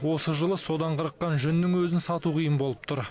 осы жылы содан қырыққан жүннің өзін сату қиын болып тұр